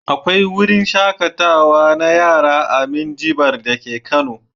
Akwai wruin shaƙatawa na yara a Minjibir dake Kano.